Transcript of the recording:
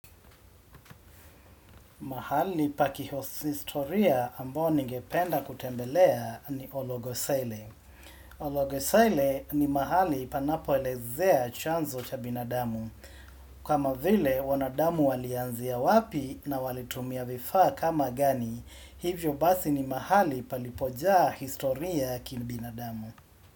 Mahali pa kihosistoria ambao nigependa kutembelea ni Ologosele. Ologosele ni mahali panapoelezea chanzo cha binadamu. Kama vile wanadamu walianzia wapi na walitumia vifaa kama gani, hivyo basi ni mahali palipojaa historia ya kibinadamu.